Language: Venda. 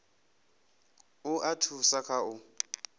u a thusa kha u